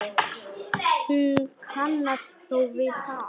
Hún kannast þó við það.